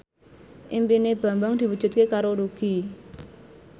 impine Bambang diwujudke karo Nugie